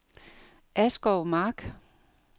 Askov Mark